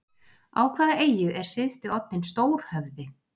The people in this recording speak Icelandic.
Á hvaða eyju er syðsti oddinn stór-höfði?